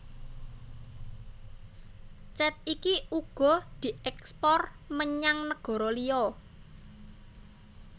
Cet iki uga dièkspor menyang negara liya